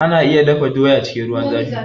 Ana iya dafa doya cikin ruwan zafi